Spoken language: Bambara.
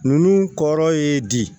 Ninnu kɔrɔ ye di